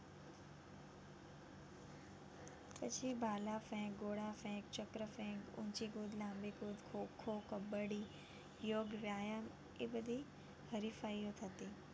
પછી ભલા ફેંક, ગોળા ફેંક, ચક્ર ફેંક, ઊંચી કૂદ, લાંબી કૂદ, ખોં-ખોં, કબડ્ડી, યોગ, વ્યાયામ એ બધી હરીફાઈઓ થતી.